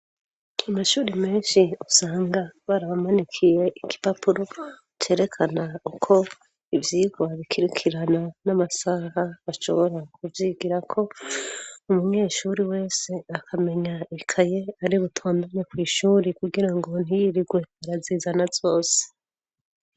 Amashuri menshi usanga barabamanikiye ikipapuro cerekana uko ivyigwa bikirikirana n'amasaha ashobora kuvyigira ko umunyeshuri wese akamenya ikaye ari butondanya ku ishuri kugira ngo ntiyirigwe barazizana zose.